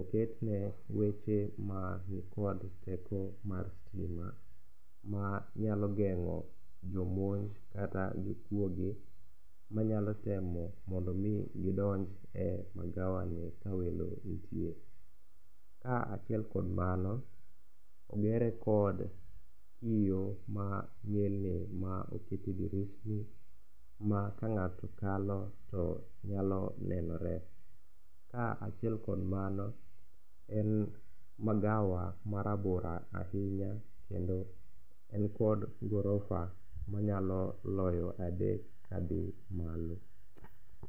oketne weche mag kod teko mar stima manyalo geng'o jomonj kata jokuoge manyalo temo mondo omi gidonj e magawani ka welo nitie. Kaachiel kod mano, ogere kod kio manyilni ma oket e dirishni ma kang'ato kalo to nyalo nenore. Kaachiel kod mano en magawa marabora ahinya kendo en kod gorofa manyalo loyo adek kadhi malo.